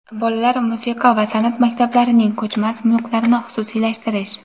bolalar musiqa va sanʼat maktablarining ko‘chmas mulklarini xususiylashtirish;.